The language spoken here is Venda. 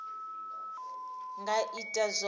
nga ita zwone musi a